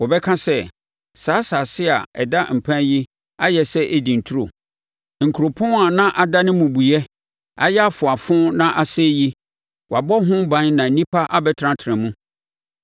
Wɔbɛka sɛ, “Saa asase a ada mpan yi ayɛ sɛ Eden turo. Nkuropɔn a na adane mmubuiɛ, ayɛ afoafo na asɛe yi, wɔabɔ ho ban na nnipa abɛtenatena mu.”